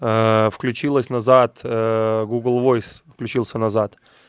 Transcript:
включилась назад гугл воис включился назад